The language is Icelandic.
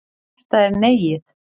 Þetta er Neiið.